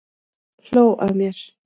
Hló að mér!